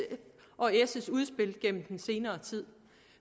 udspil igennem den senere tid